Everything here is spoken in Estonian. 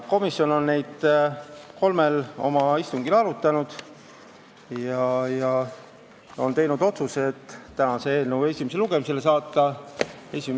Komisjon on teemat kolmel istungil arutanud ja teinud otsuse saata eelnõu esimesele lugemisele tänaseks.